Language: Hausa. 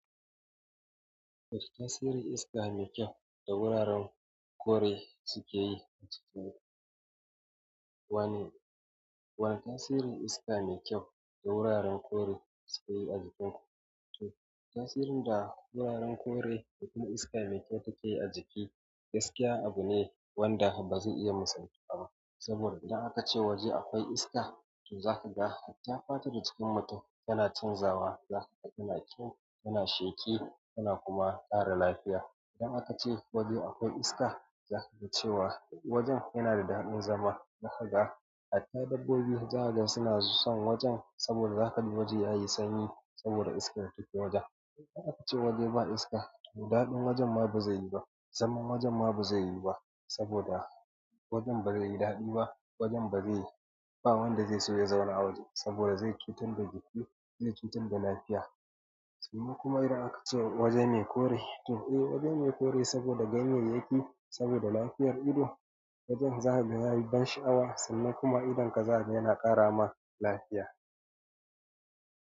Wani tasiri iska mai kyau da wuraren kore suke yi a jikin ku. Wani, wani tasiri iska mai kyau da wuraren kore suke yi a jikin ku. To tasirin da wuraren kore da kuma iska mai kyau take yi a jiki gaskiya abu ne wanda ba zai iya misaltuwa ba. Saboda idan aka ce waje akwai iska, to za ka ga hatta fatar da jikin mutum yana canzawa. Za ka ga yana kyau, yana sheki yana kuma ƙara lafiya. Idan aka ce waje akwai iska, za ka ga cewa wajen yana da daɗin zama. Za ka ga hatta dabbobi zaka gan suna son wajen saboda za ka ga waje yayi sanyi saboda iskar da take wajen. Idan aka ce waje ba iska, to daɗin wajen ma ba zai yi ba. Zaman wajen ma ba zai yiwu ba saboda wajen ba zai yi daɗi ba. Wajen ba zai yi, ba wanda zai so ya zauna a waje saboda zai yi cutar da jiki zai cutar da lafiya. Sannan kuma idan aka ce waje me kore, to eh waje me kore saboda ganyeyaki saboda lafiyar ido. Wajen za ka ga yayi ban sha'awa sannan kuma idonka za ka ga yana ƙara ma lafiya.